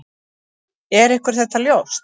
Er ykkur þetta ljóst?